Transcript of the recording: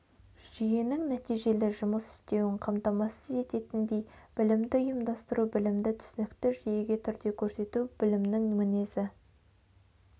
жүйенің нәтижелі жұмыс істеуін қамтамасыз ететіндей білімді ұйымдастыру білімді түсінікті жүйеге түрде көрсету білімнің мінезі